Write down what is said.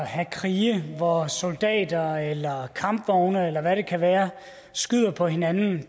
at have krige hvor soldater eller kampvogne eller hvad det kan være skyder på hinanden